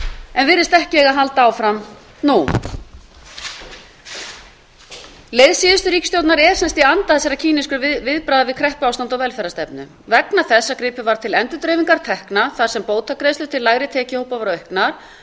en virðist ekki eiga að halda áfram nú leið síðustu ríkisstjórnar er sem sagt í anda þessara keenisku viðbragða við kreppuástandi og velferðarstefnu vegna þess að gripið var til endurdreifingar tekna þar sem bótagreiðslur til lægri tekjuhópa voru auknar